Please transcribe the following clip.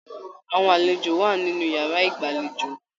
Àwọn àlejò wà nínú yàrá ìgbàlèjo.